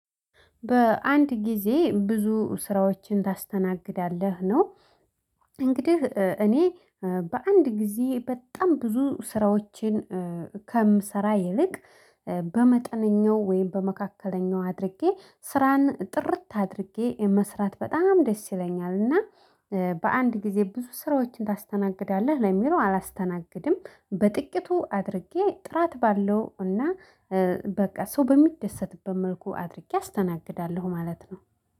በአንድ ጊዜ ብዙ ስራዎችን ታስተናግዳለህ? ነው እንግዲህ እኔ በአንድ ጊዜ በጣም ብዙ ስራዎችን ከምሰራ ይልቅ በመጠነኛው ወይም በመካከለኛው አድርጌ ስራን ጥርት አድርጌ መስራት በጣም ደስ ይለኛል? እና በአንድ ጊዜ ብዙ ስራዎችን ታስተናግዳለህ ለሚለው አላስተናግድም። በጥቂቱ አድርጌ ጥራት ባለው እና በቃ ሰው በሚደሰትበት መልኩ አድርጌ አስተናግዳለሁ ማለት ነው።